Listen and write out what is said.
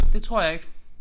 Det tror jeg ikke